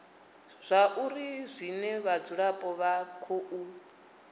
zwauri zwine vhadzulapo vha khou